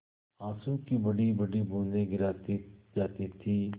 आँसू की बड़ीबड़ी बूँदें गिराती जाती थी